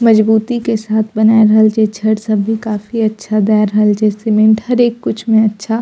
मजबूती के साथ बना रहल छै छड़ सब भी काफी अच्छा दाय रहल छै सीमेंट हरेक कुछ में अच्छा --